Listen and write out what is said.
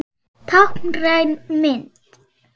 Táknræn mynd.